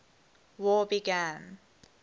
war began